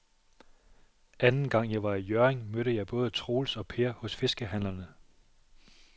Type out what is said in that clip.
Anden gang jeg var i Hjørring, mødte jeg både Troels og Per hos fiskehandlerne.